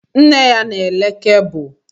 Nne ya na-ere kebụl